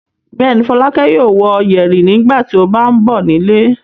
Bẹ́ẹ̀ ni, Fọlákẹ́ yóò wọ yẹ̀rì nígbà tó bá ń bọ̀ nílé.